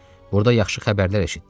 Burda yaxşı xəbərlər eşitdi.